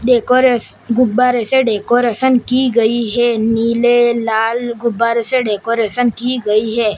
Decoration गुब्बारा से decoration की गई है। नीले लाल गुब्बारे से डेकोरेशन की गई है।